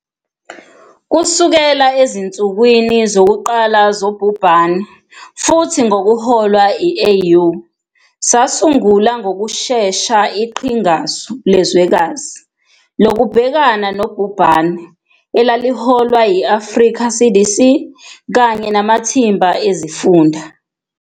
Kusukela ezinsukwini zokuqala zobhubhane futhi ngokuholwa i-AU, sasungula ngokushesha iqhingasu lezwekazi lokubhekana nobhubhane, elaliholwa i-Africa CDC kanye namathimba ezifunda.